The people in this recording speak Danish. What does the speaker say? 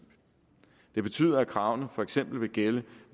det betyder at kravene for eksempel vil gælde